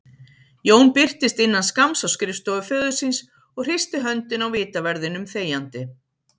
Jón birtist innan skamms á skrifstofu föður síns og hristi höndina á vitaverðinum þegjandi.